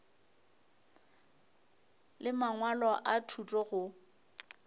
le mangwalo a thuto go